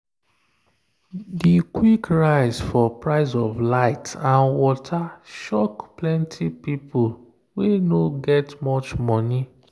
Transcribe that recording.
the quick rise for price of light and water shock plenty people wey no get much money